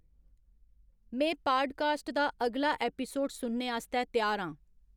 में पाडकास्ट दा अगला ऐपिसोड सुनने आस्तै त्यार आं